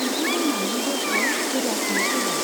बिब्दि बुंनानै दरखौ जोगासिनो जोबाय।